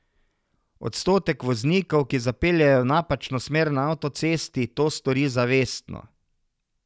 Odstotek voznikov, ki zapeljejo v napačno smer na avtocesti, to stori zavestno.